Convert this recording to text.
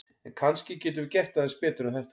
En kannski getum við gert aðeins betur en þetta!